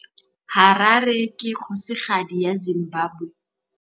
Harare ke kgosigadi ya Zimbabwe.